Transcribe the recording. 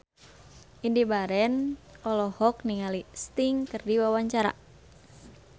Indy Barens olohok ningali Sting keur diwawancara